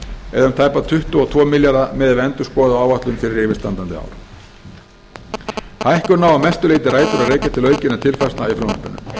eða um tæpa tuttugu og tvo milljarða miðað við endurskoðaða áætlun fyrir yfirstandandi ár hækkunin á að mestu leyti rætur að rekja til aukinna tekjutilfærslna í frumvarpinu